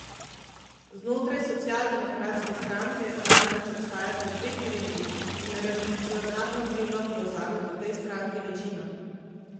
Znotraj socialdemokratske stranke namreč obstajata dve krili in revolucionarno krilo prevzame v tej stranki večino.